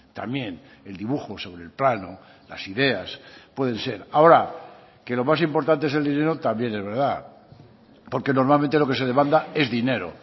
también el dibujo sobre el plano las ideas pueden ser ahora que lo más importante es el dinero también es verdad porque normalmente lo que se demanda es dinero